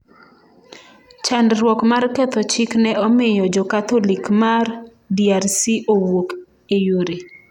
Chandruok mar ketho chik ne omiyo Jokatholik ma DRC owuok e yore